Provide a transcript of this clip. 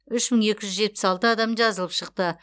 үш мың екі жүз жетпіс алты адам жазылып шықты